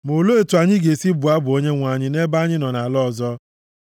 Ma, olee otu anyị ga-esi bụọ abụ Onyenwe anyị ebe anyị nọ nʼala ọzọ?